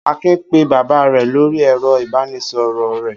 Akin pé bàbá rẹ̀ lórí ẹ̀rọ-ìbánisọ̀rọ̀ rẹ̀.